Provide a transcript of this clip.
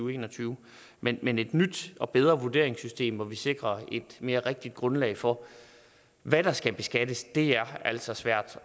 og en og tyve men men et nyt og bedre vurderingssystem hvor vi sikrer et mere rigtigt grundlag for hvad der skal beskattes er altså svært